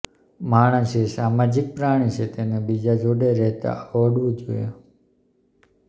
માણસ એ સામાજિક પ્રાણી છે તેને બીજા જોડે રહેતાં આવડવું જોઈએ